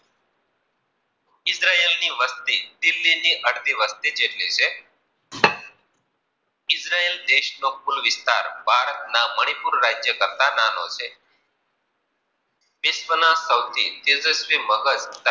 ઈદર્યે ની વસ્તી કે ત્રીજી વસ્તી કરતી વસ્તી જેટલી છે ઇદ્રયે દેશ નો કુલ વિસ્તાર ભારત ના મનીપુજય રાજ્ય કરતા નાનો છે. વિશ્વ ના સૌથી તેજસ્વી મગજ ધરાવતો